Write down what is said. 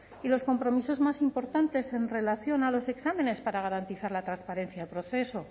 y los compromisos más importantes en relación a los exámenes para garantizar la transparencia del proceso